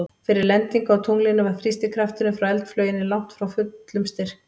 Fyrir lendingu á tunglinu var þrýstikrafturinn frá eldflauginni langt frá fullum styrk.